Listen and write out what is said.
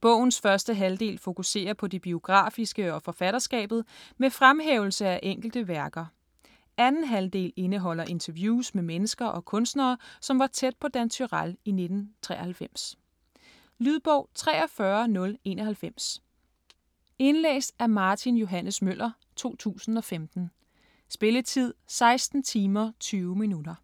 Bogens første halvdel fokuserer på det biografiske og forfatterskabet, med fremhævelse af enkelte værker. Anden halvdel indeholder interviews med mennesker og kunstnere som var tæt på Dan Turèll i 1993. Lydbog 43091 Indlæst af Martin Johs. Møller, 2015. Spilletid: 16 timer, 20 minutter.